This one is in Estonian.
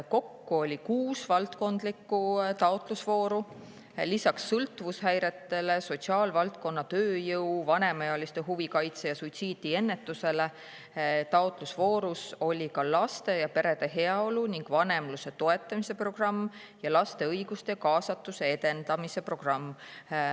Kokku oli kuus valdkondlikku taotlusvooru, lisaks sõltuvushäirete, sotsiaalvaldkonna tööjõu, vanemaealiste huvikaitse ja suitsiidiennetuse oli taotlusvoorus laste ja perede heaolu ning vanemluse toetamise programm, samuti laste õiguste ja kaasatuse edendamise programm.